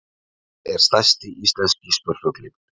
Hver er stærsti íslenski spörfuglinn?